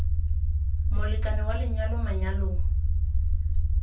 molekane wa lenyalo mo manyalong